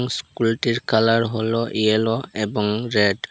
ইস্কুলটির colour হল yellow এবং red.